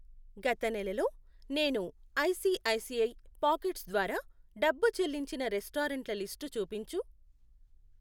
గత నెల లో నేను ఐసిఐసిఐ పాకెట్స్ ద్వారా డబ్బు చెల్లించిన రెస్టారెంట్ల లిస్టు చూపించు.